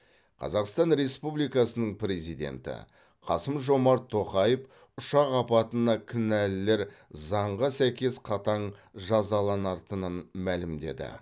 қазақстан республикасының президенті қасым жомарт тоқаев ұшақ апатына кінәлілер заңға сәйкес қатаң жазаланатынын мәлімдеді